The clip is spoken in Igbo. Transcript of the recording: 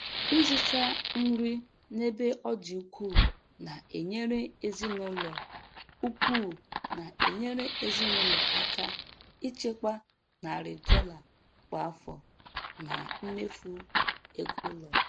Ịzụta nri n'ebe ọ dị ukwuu na-enyere ezinụlọ ukwuu na-enyere ezinụlọ aka ichekwa narị dolla kwa afọ na mmefu ego ụlọ.